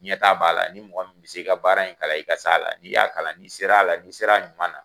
Ɲɛtaa b'a la ni mɔgɔ min bɛ se ka baara in kalan , n'i y'a kalan, n'i sera a la , n'i sera a ɲuman na.